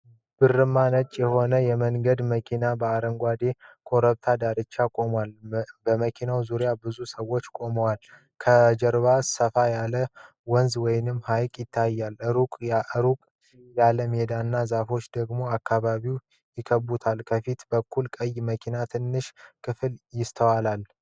ብርማ ነጭ የሆነ የመንገደኞች መኪና በአረንጓዴ ኮረብታ ዳርቻ ቆሟል። በመኪናው ዙሪያ ብዙ ሰዎች ቆመዋል። ከጀርባ ሰፋ ያለ ወንዝ ወይም ሐይቅ ይታያል፣ ሩቅ ያለ ሜዳና ዛፎች ደግሞ አካባቢውን ይከብቡታል። ከፊት በኩል ቀይ መኪና ትንሽ ክፍል ይስተዋላል።